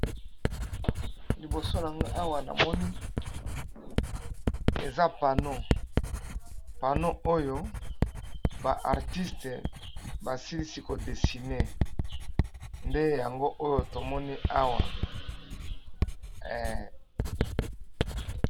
Liboso nanga awa namoni eza pano oyo ba Artiste basilisi ko dessiné ndeyango tomoni awa eee